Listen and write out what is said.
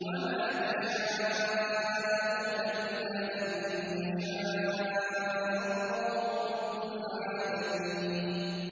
وَمَا تَشَاءُونَ إِلَّا أَن يَشَاءَ اللَّهُ رَبُّ الْعَالَمِينَ